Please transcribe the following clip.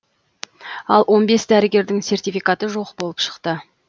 ал он бес дәрігердің сертификаты жоқ болып шықты